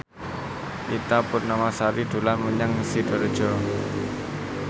Ita Purnamasari dolan menyang Sidoarjo